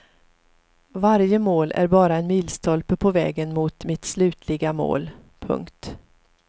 Varje mål är bara en milstolpe på vägen mot mitt slutliga mål. punkt